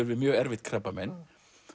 við mjög erfitt krabbamein